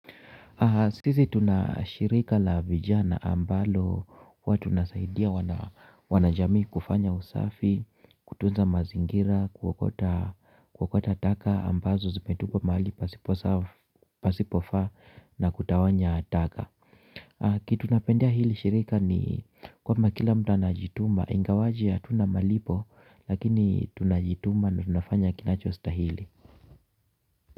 Sisi tuna shirika la vijana ambalo huwa tunasaidia wanajamii kufanya usafi, kutunza mazingira, kuokota taka ambazo zimetupwa mahali pasipofaa na kutawanya taka. Kitu napendea hili shirika ni kwamba kila mtu anajituma, ingawaje hatuna malipo lakini tunajituma na tunafanya kinacho stahili.